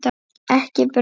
Ekki brauð.